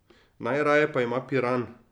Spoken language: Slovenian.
Najraje pa ima Piran.